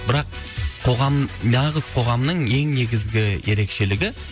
бірақ қоғам нағыз қоғамның ең негізгі ерекшелігі